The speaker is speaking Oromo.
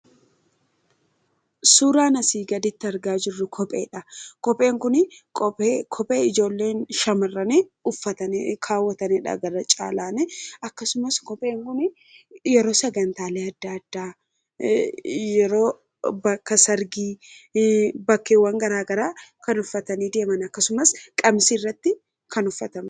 suuraan asii gaditti argaa jirru kopheedha. kopheen kun kophee ijoolleen shamarrani uffatanii kaawwataniidha. gara caalaani akkasumas kopheen kun yeroo sagantaalee adda addaa yeroo bakka sargii bakkeewwan garaa garaa kan uffatanii deeman akkasumas qabsii irratti kan uffatama.